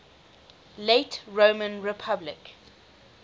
late roman republic